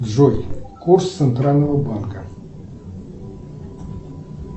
джой курс центрального банка